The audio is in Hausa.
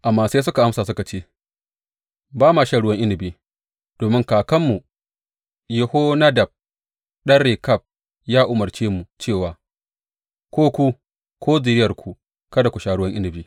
Amma sai suka amsa suka ce, Ba ma shan ruwan inabi, domin kakanmu Yehonadab ɗan Rekab ya umarce mu cewa, Ko ku, ko zuriyarku kada ku sha ruwan inabi.